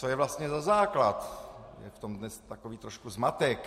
Co je vlastně za základ, je v tom dnes takový trošku zmatek.